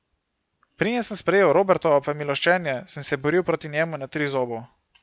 Preden sem sprejel Robertovo pomiloščenje, sem se boril proti njemu na Trizobu.